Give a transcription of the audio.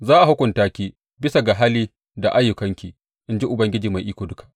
Za a hukunta ki bisa ga hali da ayyukanki, in ji Ubangiji Mai Iko Duka.’